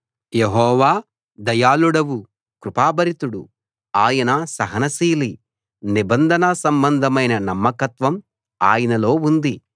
యెహోవా దయాళువు కృపాభరితుడు ఆయన సహనశీలి నిబంధన సంబంధమైన నమ్మకత్వం ఆయనలో ఉంది